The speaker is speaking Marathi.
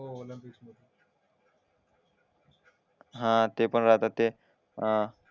अं हा ते पण राहतात ते